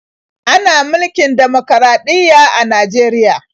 Ana mulkin dimokuraɗiyya a Najeriya.